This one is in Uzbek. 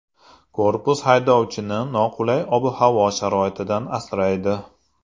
Korpus haydovchini noqulay ob-havo sharoitidan asraydi.